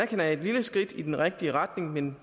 det er et lille skridt i den rigtige retning men